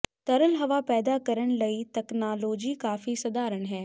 ਤਰਲ ਹਵਾ ਪੈਦਾ ਕਰਨ ਲਈ ਤਕਨਾਲੋਜੀ ਕਾਫ਼ੀ ਸਧਾਰਨ ਹੈ